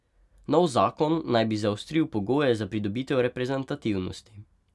Nov zakon naj bi zaostril pogoje za pridobitev reprezentativnosti.